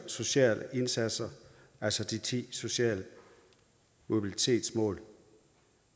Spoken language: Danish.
sociale indsatser altså de ti sociale mobilitetsmål